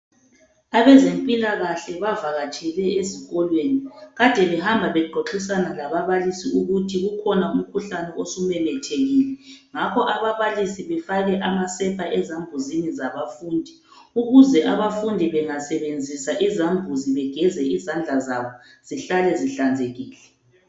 Abezempilakahle bavakatshele ezikolweni. Ade behamba bexoxisana lababalisi ukuthi ukhona umkhuhlane osumemethekile, ngakho ababalisi befake amasepa esambuzini zabafundi ukuze abafundi bengasebenzisa izambuzi begeze izandla zabo zihlale zihlanzekile.